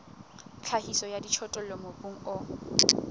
tlhahiso ya dijothollo mobung o